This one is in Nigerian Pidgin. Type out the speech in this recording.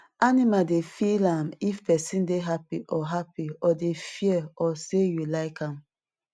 animal dey feel am if pesin dey happy or happy or dey fear or say you like am